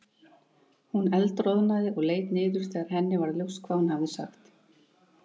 Hún eldroðnaði og leit niður þegar henni varð ljóst hvað hún hafði sagt.